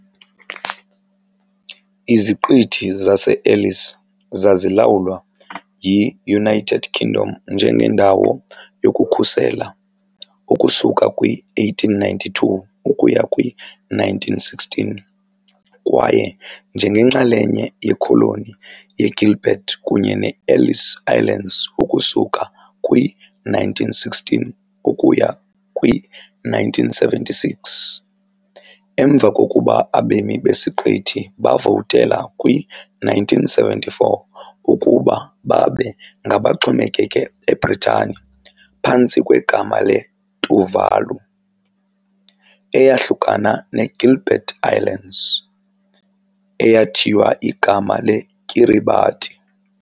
Iziqithi zase-Ellice zazilawulwa yi-United Kingdom njengendawo yokukhusela ukusuka kwi -1892 ukuya kwi-1916 kwaye njengenxalenye yekholoni ye-Gilbert kunye ne-Ellice Islands ukusuka kwi -1916 ukuya kwi-1976, emva kokuba abemi besiqithi bavotela kwi- 1974 ukuba babe ngabaxhomekeke eBritani phantsi kwegama le-Tuvalu, eyahlukana neGilbert Islands, eyathiywa igama leKiribati.